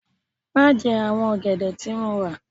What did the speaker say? Má jẹ àwọn ọ̀gẹ̀dẹ̀ tí mo rà l